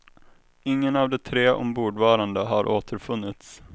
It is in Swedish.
Ingen av de tre ombordvarande har återfunnits.